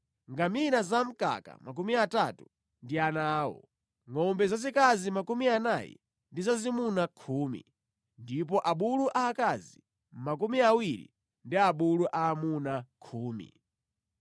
ngamira za mkaka 30 ndi ana awo, ngʼombe zazikazi 40 ndi zazimuna khumi, ndipo abulu aakazi makumi awiri ndi abulu aamuna khumi.